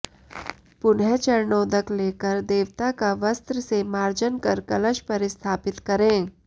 पुनः चरणोदक लेकर देवता का वस्त्र से मार्जन कर कलश पर स्थापित करें